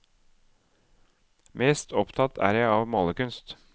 Mest opptatt er jeg av malerkunst.